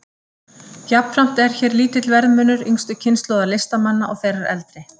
Jafnframt er hér lítill verðmunur yngstu kynslóðar listamanna og þeirrar eldri.